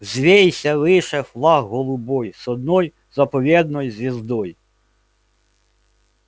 взвейся выше флаг голубой с одной заповедной звездой